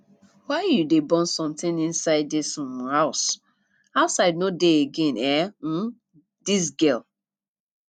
why you go dey burn something inside dis um house outside no dey again eh um dis girl